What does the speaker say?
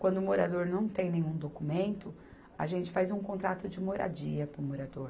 Quando o morador não tem nenhum documento, a gente faz um contrato de moradia para o morador.